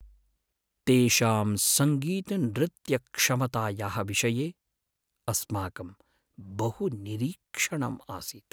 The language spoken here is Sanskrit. तेषां सङ्गीतनृत्यक्षमतायाः विषये अस्माकं बहु निरीक्षणम् आसीत्।